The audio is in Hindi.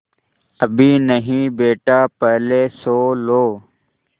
अभी नहीं बेटा पहले सो लो